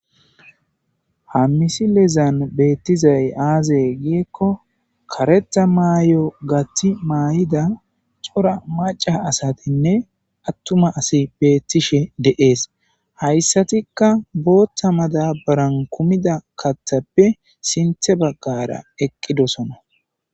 Ha misi lezan beettizay aazey giekko kareta maayo gathi maay'ida xora maca asatinne attuma asi beettishe de'ees hayssatikka booththa madabaran kumida kathappe sinthe baggara eqqidosona.